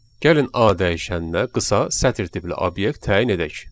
Gəlin A dəyişəninə qısa sətir tipli obyekt təyin edək.